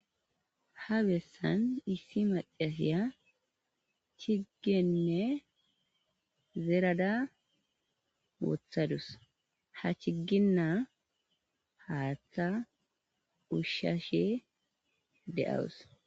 ha bessan issi macasiya chiggenne zerada wothadus ha chigginna haaththa ushshashe de7awus